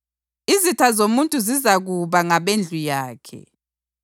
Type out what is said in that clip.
izitha zomuntu zizakuba ngabendlu yakhe.’ + 10.36 UMikha 7.6